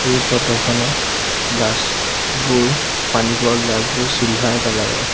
এই ফটো খনত গ্লাচ বোৰ পানী খুৱাই গ্লাচ বোৰ চিলভাৰ কালাৰ ৰ।